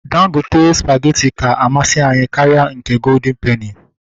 Dangote spageti ka amasị anyị karịa nke goldịn peni